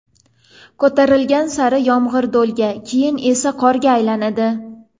ko‘tarilgan sari yomg‘ir do‘lga, keyin esa qorga aylanadi.